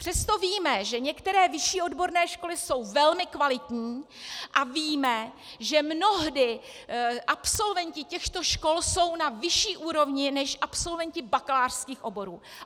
Přesto víme, že některé vyšší odborné školy jsou velmi kvalitní, a víme, že mnohdy absolventi těchto škol jsou na vyšší úrovni než absolventi bakalářských oborů.